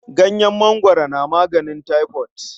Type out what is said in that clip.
Ganyen mangwaro na maganin taifot.